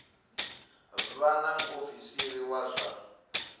vha na muofisiri wa zwa